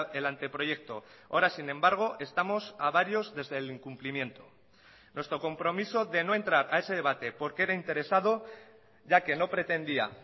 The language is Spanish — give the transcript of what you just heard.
el anteproyecto ahora sin embargo estamos a varios desde el incumplimiento nuestro compromiso de no entrar a ese debate porque era interesado ya que no pretendía